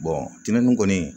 tɛnɛnin kɔni